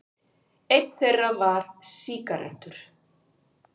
Einn þeirra var sígarettur.